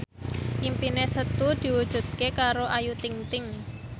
impine Setu diwujudke karo Ayu Ting ting